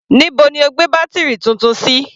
Níbo ni o gbé bátírì Titun sí?